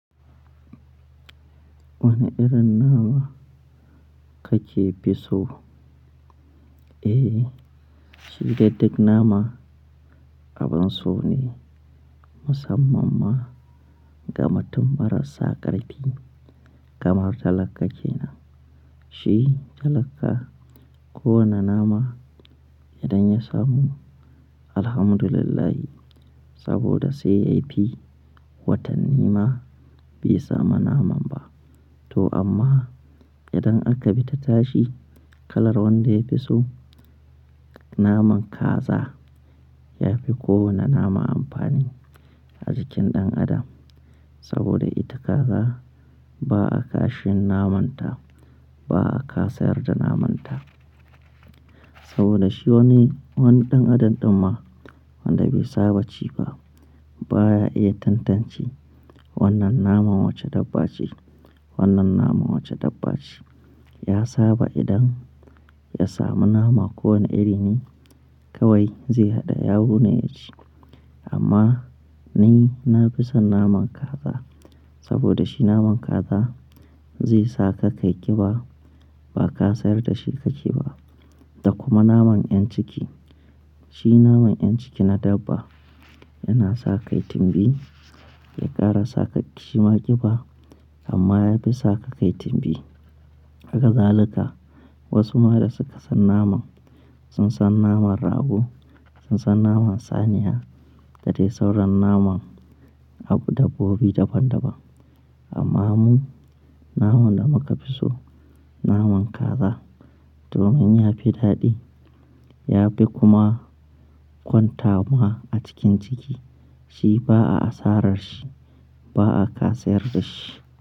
Wane irin nama kake fi so? Eh, shi gaddik nama abin so ne musamman ma gama tun marasaƙar fi kamar talaka kenan. Shi talaka kowane nama idan ya samu, alhamdulillah saboda sai yafi watanni ma bai samu naman ba. To amma idan aka bi ta tashi kalar wanda yafi so naman kaza yafi kowane nama amfani a jikin ɗan adam. Saboda ita kaza ba'a kashin namanta, ba'a kasa yarda namanta. Saboda shi wani, wani ɗan adam ɗin ma wanda bai saba ci ba baya iya tantance wannan naman wace dabba ce, wannan naman wace dabba ce. Ya saba idan ya samu nama kowane iri ne kawai zai haɗa yaro ne ya ci. Amma ni na fi son naman kaza saboda shi naman kaza zai saka kai ƙiba ba kasayar da shi ka ke ba. Da kuma naman 'yan ciki, shi naman 'yan ciki na dabba yana sa ka yi timbi, ya ƙara sa ka ki ma ƙiba amma yafi saka ka yi timbi. Hakazaluka wasu ma da suka san naman sun san naman rago, sun san naman saniya, da dai sauran naman abu dabbobi daban daban. Amma mu naman da muka fi so naman kaza domin yafi daɗi yafi kuma kwantama a cikin ciki. Shi ba'a asarar shi, ba'a kasa yarda shi.